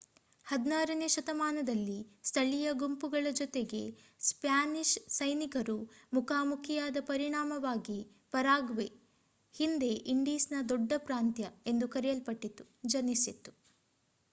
16ನೇ ಶತಮಾನದಲ್ಲಿ ಸ್ಥಳೀಯ ಗುಂಪುಗಳ ಜೊತೆಗೆ ಸ್ಪ್ಯಾನಿಷ್ ಸೈನಿಕರು ಮುಖಾಮುಖಿಯಾದ ಪರಿಣಾಮವಾಗಿ ಪರಾಗ್ವೆ ಹಿಂದೆ ಇಂಡೀಸ್‌ನ ದೊಡ್ಡ ಪ್ರಾಂತ್ಯ ಎಂದು ಕರೆಯಲ್ಪಟ್ಟಿತು ಜನಿಸಿತು